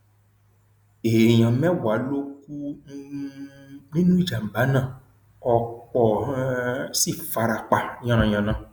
èèyàn mẹwàá ló kù um nínú ìjàmbá náà ọpọ um sì fara pa yànnà yànna